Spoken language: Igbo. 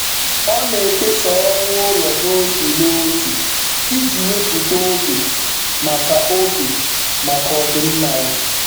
Ọ na-ekesa ọrụ ụlọ n'otu n'otu iji wepụta oge maka oge maka ọdịmma ya.